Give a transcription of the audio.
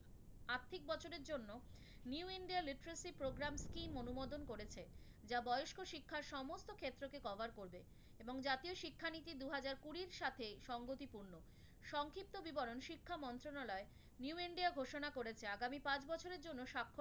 যা বয়স্ক শিক্ষার সমস্ত ক্ষেত্রকে cover করবে এবং জাতীয় শিক্ষানীতি দু হাজার কুড়ির সাথে সঙ্গতিপূর্ণ। সংক্ষিপ্ত বিবরণ শিক্ষা মন্ত্রনালয় new india ঘোষণা করেছে, আগামি পাঁচ বছরের জন্য